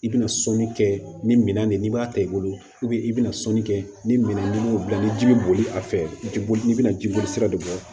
I bɛna sɔnni kɛ ni minɛn nin n'i b'a ta i bolo i bɛna sɔnni kɛ ni minɛn ni m'o bila ni ji bɛ boli a fɛ i bɛ boli i bɛna ji boli sira de bɔ